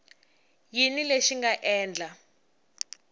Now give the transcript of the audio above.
yini lexi xi nga endla